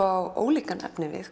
á ólíka efnivið